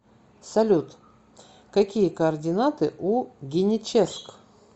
салют какие координаты у геническ